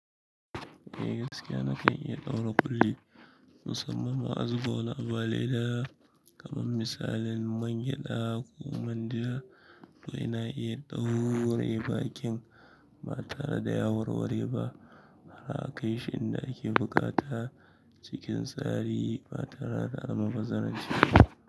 Eh gaskiya na kan iya ɗaura ƙulli, musamman ma azuba wani abu a leda kaman misalin man gyaɗa ko manja. To ina iya ɗaure bakin ba tare da yawarware ba. Har kaishi inda ake buƙata cikin tsari ba tare da almbazaran ciba.